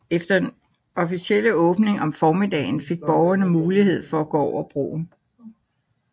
Efter den officielle åbning om formiddagen fik borgerne mulighed for at gå over broen